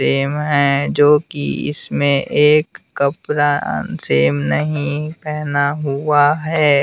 Same है जो कि इसमें एक कपड़ा सेम नहीं पहना हुआ है।